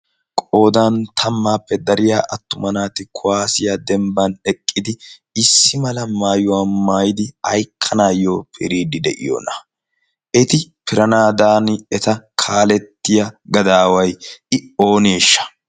qoodan tammaappe dariya attuma naati kuwaasiya dembban eqqidi issi mala maayuwaa maayidi haykkanaayyo piriidi de'iyoona eti piranaadan eta kaalettiya gadaawai i ooniishsha